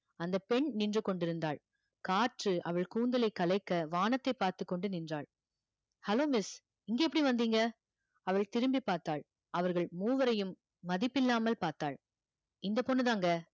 அந்தப் பெண் நின்று கொண்டிருந்தாள் காற்று அவள் கூந்தலைக் கலைக்க வானத்தைப் பார்த்துக் கொண்டு நின்றாள் hello miss இங்க எப்படி வந்தீங்க அவள் திரும்பிப் பார்த்தாள் அவர்கள் மூவரையும் மதிப்பில்லாமல் பார்த்தாள் இந்தப் பொண்ணுதாங்க